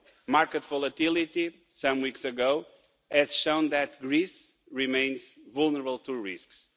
Market volatility some weeks ago has shown that Greece remains vulnerable to risks.